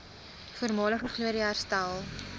voormalige glorie herstel